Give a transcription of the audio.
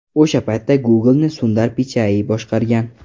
O‘sha paytda Google’ni Sundar Pichai boshqargan.